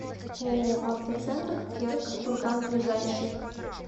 ооо автоцентр керг курган ближайший